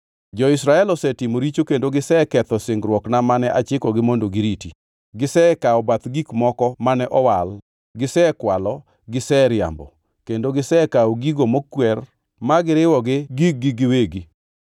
Jo-Israel osetimo richo, kendo giseketho singruokna mane achikogi mondo giriti. Gisekawo bath gik moko mane owal, gisekwalo, giseriambo, kendo gisekawo gigo mokwer ma giriwo gi gig-gi giwegi.